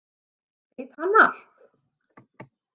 Veit hann allt?